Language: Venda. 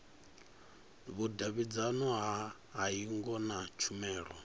vhudavhidzano ha hingo na tshumelo